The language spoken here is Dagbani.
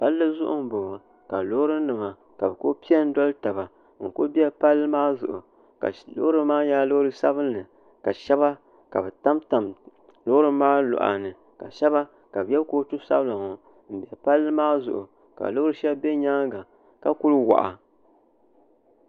palli zuɣu n boŋo ka loori nim ku piɛ n doli taba n ku bɛ palli maa zuɣu loori maa nyɛla loori sabinli ka shab tamtam loori maa loɣani ka shab yɛ kootu sabila n bɛ palli maa zuɣu ka loori shɛli bɛ nyaanga ka ku waɣa